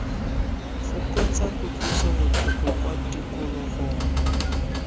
fokotsa kutlwiso botlhoko kwa tikologong